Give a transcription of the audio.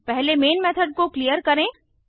पहले main method को clear करें